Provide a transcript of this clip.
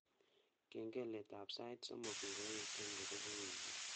Kengeletab sait somok ngoeche ngobeku wiikit